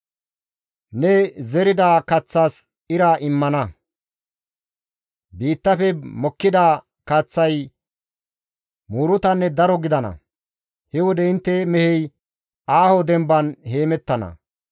Ne zerida kaththas izi ira immana; biittafe mokkida kaththay muurutanne daro gidana. He wode intte mehey aaho demban heemettana.